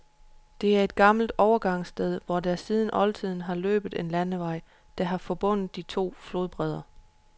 Dette er et gammelt overgangssted, hvor der siden oldtiden har løbet en landevej, der har forbundet de to flodbredder.